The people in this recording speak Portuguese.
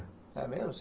É mesmo?